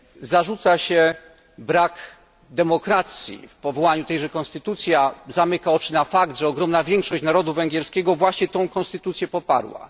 Zarzuca się brak demokracji w powołaniu tejże konstytucji, a zamyka oczy na fakt, że ogromna większość narodu węgierskiego właśnie tę konstytucję poparła.